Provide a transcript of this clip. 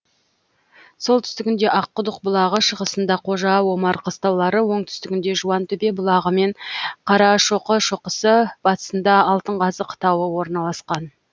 солтүстігінде аққұдық бұлағы шығысында қожа омар қыстаулары оңтүстігінде жуантөбе бұлағы мен қарашоқы шоқысы батысында алтынқазық тауы орналасқан